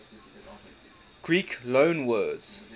greek loanwords